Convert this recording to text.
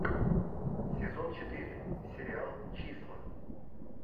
сезон четыре сериал числа